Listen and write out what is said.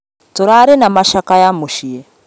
Tũrarĩ na macakaya mũciĩ